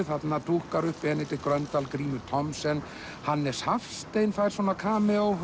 þarna dúkkar upp Benedikt Gröndal Grímur Thomsen Hannes Hafstein fær svona